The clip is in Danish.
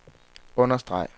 understreg